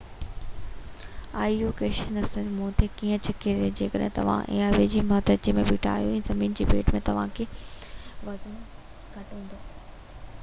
آئي او جي ڪشش ثقل مون تي ڪيئن ڇڪي ٿي جيڪڏهن توهان آئي او جي مٿاڇري تي بيٺا آهيو ته زمين جي ڀيٽ ۾ توهانجو وزن گهٽ هوندو